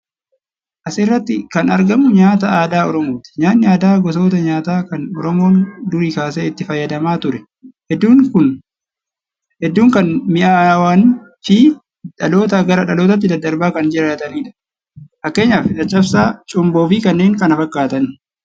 As irratti kan argamu nyaata aadaa Oromooti. Nyaayni aadaa gosoota nyaataa kan Oromoon durii kaasee itti fayyadamaa ture, hedduu kan mi'aawan fi dhalootaa gara dhalootaatti daddarbaa kan jiraatanidha. Fakkeenyaaf Caccabsaa, Cumboo fi kanneen kana fakkaatan.